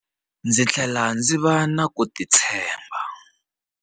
Ndzi tlhele ndzi va na ku titshemba, a vula.